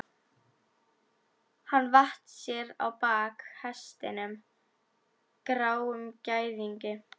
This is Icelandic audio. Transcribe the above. Hann vatt sér á bak hestinum, gráum gæðingi.